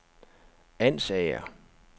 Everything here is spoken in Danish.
Ansager